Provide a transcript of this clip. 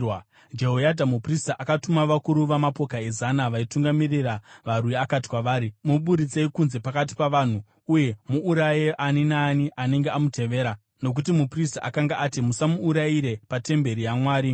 Jehoyadha muprista akatuma vakuru vamapoka ezana, vaitungamirira varwi akati kwavari, “Muburitsei kunze pakati pavanhu, uye muuraye ani naani anenge amutevera.” Nokuti muprista akanga ati, “Musamuurayire patemberi yaJehovha.”